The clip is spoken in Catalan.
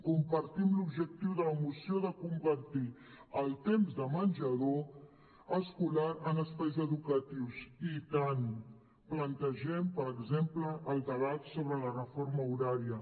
compartim l’objectiu de la moció de convertir el temps de menjador escolar en espais educatius i tant plantegem per exemple el debat sobre la reforma horària